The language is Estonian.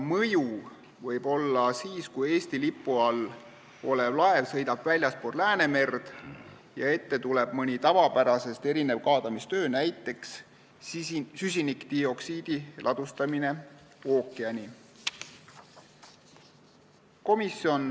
Mõju võib olla siis, kui Eesti lipu all olev laev sõidab väljaspool Läänemerd ja ette tuleb mõni tavapärasest erinev kaadamistöö, näiteks süsinikdioksiidi ladustamine ookeani.